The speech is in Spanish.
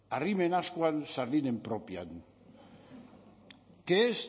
arrimen ascuan sardinen propian que es